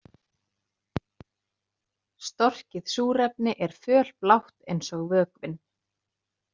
Storkið súrefni er fölblátt eins og vökvinn.